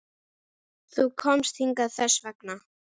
Þú komst hingað þess vegna.